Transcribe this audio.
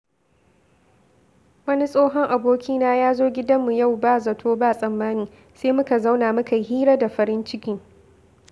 Wani tsohon abokina ya zo gidanmu yau ba zato ba tsammani, sai muka zauna muka yi hira da farin ciki.